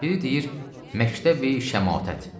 Biri deyir Məktəbi-Şəmatət.